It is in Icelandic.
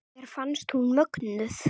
Mér fannst hún mögnuð.